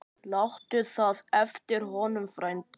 Láttu það eftir honum, frændi.